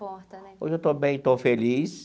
Importa né. Hoje eu estou bem, estou feliz.